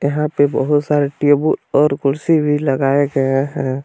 यहां पे बहुत सारे टेबुल और कुर्सी भी लगाया गया है।